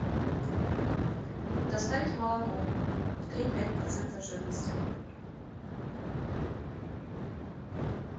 доставить молоко три и пять процента жирности